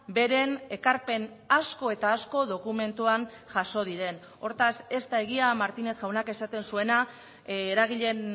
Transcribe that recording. beren ekarpen asko eta asko dokumentuan jaso diren hortaz ez da egia martínez jaunak esaten zuena eragileen